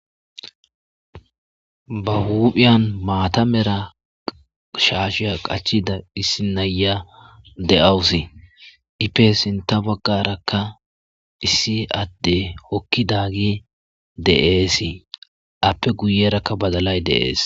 Ba huphiyan maata mera shaashiya qachida issi na'iya de'awusi ipe sinta baggarakka issi adde hokkidagiy de'eesii appe guyerakka badalay dee's.